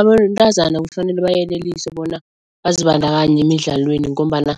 Abantazana kufanele bayeleliswe bona bazibandakanye emidlalweni ngombana